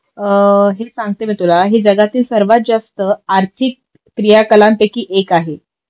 हेच सांगते मी तुला हे जगातील सर्वात जास्त आर्थिक प्रियाकलांपैकी एक आहे